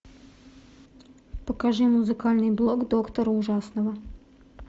покажи музыкальный блог доктора ужасного